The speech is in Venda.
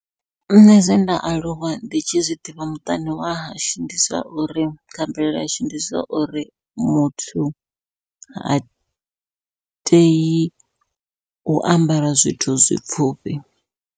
Nṋe zwenda aluwa ndi tshi zwiḓivha muṱani wa hashu ndi zwa uri, kha mvelele yashu ndi zwa uri muthu ha tei u ambara zwithu zwipfhufhi.